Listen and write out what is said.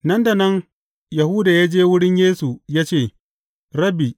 Nan da nan Yahuda ya je wurin Yesu ya ce, Rabbi!